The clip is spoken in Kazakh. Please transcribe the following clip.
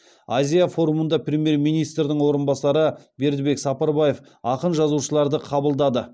азия форумында премьер министрдің орынбасары бердікбек сапарбаев ақын жазушыларды қабылдады